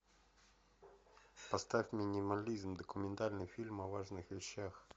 поставь минимализм документальный фильм о важных вещах